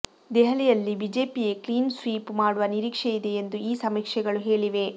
ದೆಹಲಿಯಲ್ಲಿ ಬಿಜೆಪಿಯೇ clean sweep ಮಾಡುವ ನಿರೀಕ್ಷೆ ಇದೆ ಎಂದು ಈ ಸಮೀಕ್ಷೆಗಳು ಹೇಳಿವೆ